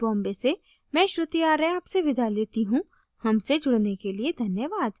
iit iit T Bombay से मैं श्रुति आर्य आपसे विदा लेती हूँ हमसे जुड़ने के लिए धन्यवाद